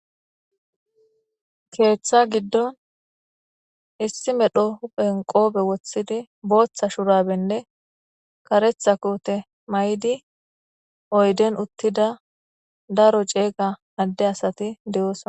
Keeththa giddon issi medho huphen qoobe wothidi booththa shurabenne karetha koote may7di oyden uttida daro ceega adde asati deyoosna